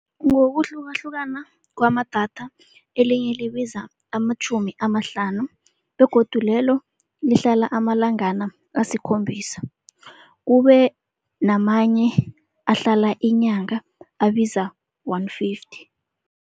Ngokuhlukahlukana kwamadatha elinye libiza amatjhumi amahlanu begodu lelo lihlala amalangana asikhombisa. Kube namanye ahlala inyanga abiza one fifty.